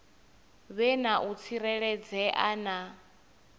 vhe na u tsireledzea na